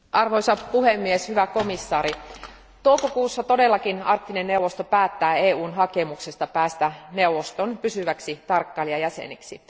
Arvoisa puhemies, hyvä komission jäsen, toukokuussa todellakin Arktinen neuvosto päättää EUn hakemuksesta päästä neuvoston pysyväksi tarkkailijajäseneksi.